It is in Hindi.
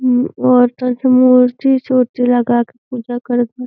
इ औरत सब मूर्ति ज्योति लगाकर पूजा करत हन।